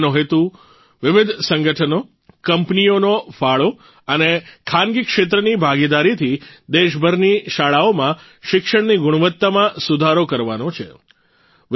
તેનો હેતુ વિવિધ સંગઠનો કંપનીઓનો ફાળો અને ખાનગી ક્ષેત્રની ભાગીદારીથી દેશભરની શાળાઓમાં શિક્ષણની ગુણવત્તામાં સુધારો કરવાનો છે